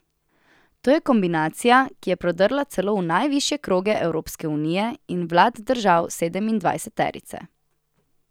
To je kombinacija, ki je prodrla celo v najvišje kroge Evropske unije in vlad držav sedemindvajseterice.